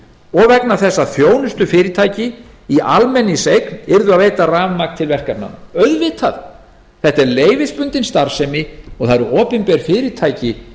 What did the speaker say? og vegna þess að þjónustufyrirtæki í almenningseign yrðu að veita rafmagni til verkefnanna auðvitað þetta er leyfisbundin starfsemi og það eru opinber fyrirtæki